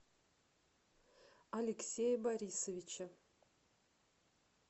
алексея борисовича